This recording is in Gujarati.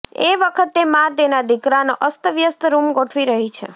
એ વખતે મા તેના દીકરાનો અસ્તવ્યસ્ત રૂમ ગોઠવી રહી છે